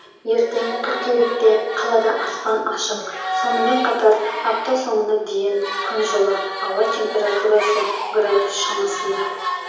ертең қыркүйекте қалада аспан ашық сонымен қатар апта соңына дейін күн жылы ауа температурасы градус шамасында